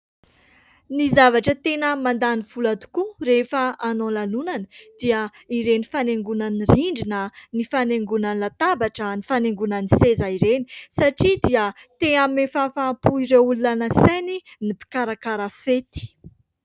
Ny zavatra tena mandany vola tokoa rehefa hanao lanonana dia ireny fanaingona ny rindrina, ny fanaingoana ny latabatra, ny fanaingoana ny seza ireny satria dia te hanome fahafahampo ny olona nasainy ny mpikarakara fety.